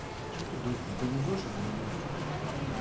что ты друг не повезешь или не будешь блять